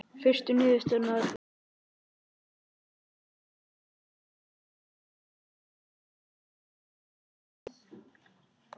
Fyrstu niðurstöðurnar lágu fyrir í október og nóvember.